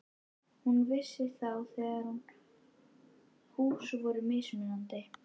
Hún vissi þá þegar að hús voru mismunandi.